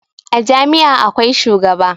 A Jami' a akwai shugaba